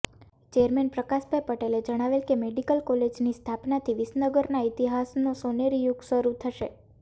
chairman Prakashbhai પટેલે જણાવેલ કે મેડીકલ કોલેજની સ્થાપનાથી વિસનગરના ઈતિહાસનો સોનેરી યુગ શરૂ થશે